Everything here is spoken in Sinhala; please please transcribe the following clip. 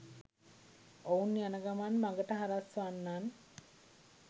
ඔවුන් යන ගමන් මගට හරස් වන්නන්